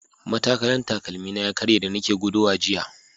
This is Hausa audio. Matakalan takalmina ya karye da nake gudawa jiya.